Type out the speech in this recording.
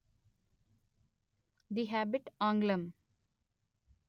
the Hobbit ఆంగ్లం